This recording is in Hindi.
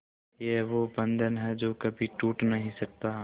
ये वो बंधन है जो कभी टूट नही सकता